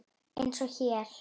Eins og hér.